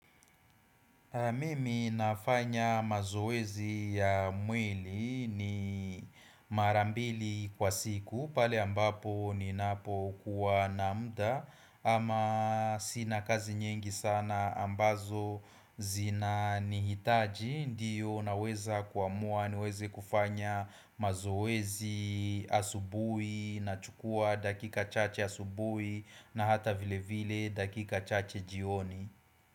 Mimi nafanya mazoezi ya mwili ni marambili kwa siku pale ambapo ninapo kuwa na muda ama sina kazi nyingi sana ambazo zinanihitaji ndio naweza kuamua niweze kufanya mazoezi asubuhi nachukua dakika chache asubuhi na hata vile vile dakika chache jioni.